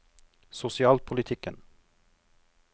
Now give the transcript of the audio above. sosialpolitikken